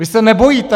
Vy se nebojíte?